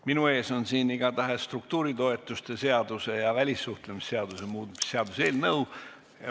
Minu ees on igatahes struktuuritoetuse seaduse ja välissuhtlemisseaduse muutmise seaduse eelnõu.